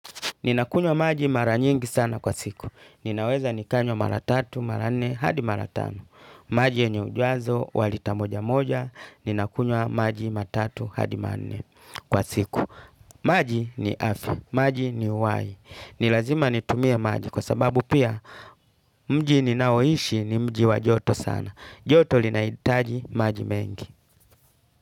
Ninakunywa maji mara nyingi sana kwa siku. Ninaweza nikanywa mara tatu, mara nne, hadi mara tano. Maji yenye ujazo wa lita moja moja. Ninakunywa maji mara tatu, hadi mara nne kwa siku. Maji ni afi. Maji ni uai. Ni lazima nitumie maji kwa sababu pia mji ninaoishi ni mji wa joto sana. Joto linaitaji maji mengi.